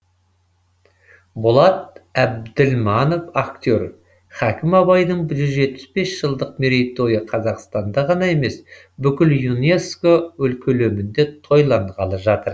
болат әбділманов актер хакім абайдың жүз жетпіс бес жылдық мерейтойы қазақстанда ғана емес бүкіл юнеско көлемінде тойланғалы жатыр